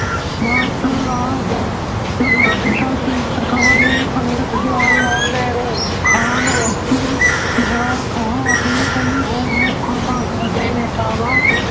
Martial law ਲਗਾ ਦਿੱਤਾ ਸੀ, ਸਰਕਾਰ ਨੇ ਪੰਡਿਤ ਜਵਾਹਰ ਲਾਲ ਨਹਿਰੂ, ਖਾਨ ਅਬਦੁਲ ਖਵਾਰ ਖਾਂ ਅਤੇ ਕਈ ਹੋਰ ਮੁੱਖ ਕਾਂਗਰਸੀ ਨੇਤਾਵਾਂ